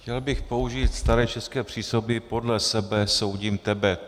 Chtěl bych použít staré české přísloví "podle sebe soudím tebe".